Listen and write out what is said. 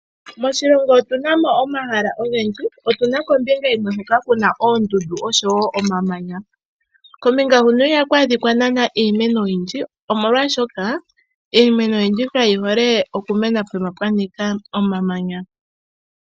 Moshilongo otu na mo omahala ogendji. Opu na kombinga yimwe hoka ku na oondundu nosho woo omamanya. Iha ku adhika iimeno oyindji oshoka iimeno oyindji kayi hole okumena pehala pwa nika omamanya.